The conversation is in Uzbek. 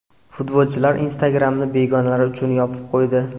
Futbolchilar Instagram’ni begonalar uchun yopib qo‘ydi.